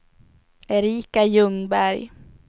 Erika Ljungberg